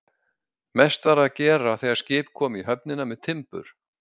Mest var að gera þegar skip komu í höfnina með timbur.